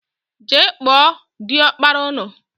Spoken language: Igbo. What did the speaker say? Jee kpọọ diọkpara ụnụ!!!!